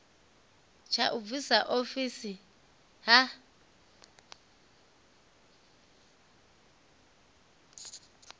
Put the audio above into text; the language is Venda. tsha u bvisiwa ofisini ha